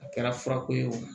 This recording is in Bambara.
A kɛra furako ye o